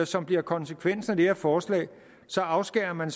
som bliver konsekvensen af det her forslag så afskærer man